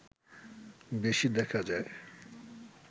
বেশি দেখা যায়